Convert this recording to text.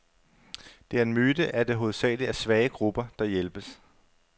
Det er en myte, at det hovedsageligt er svage grupper, der hjælpes.